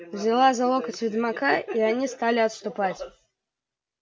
взяла за локоть ведьмака и они стали отступать